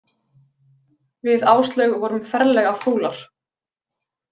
Við Áslaug vorum ferlega fúlar.